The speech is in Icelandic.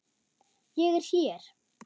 Ég er hér.